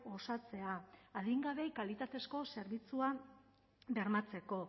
osatzea adingabeei kalitatezko zerbitzua bermatzeko